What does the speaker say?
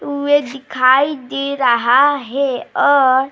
वे दिखाई दे रहा है और --